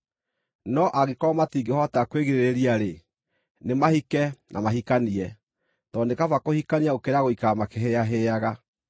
No angĩkorwo matingĩhota kwĩgirĩrĩria-rĩ, nĩmahike na mahikanie, tondũ nĩ kaba kũhikania gũkĩra gũikara makĩhĩĩahĩaga.